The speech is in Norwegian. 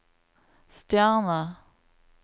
stjerne